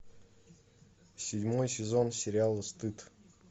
седьмой сезон сериала стыд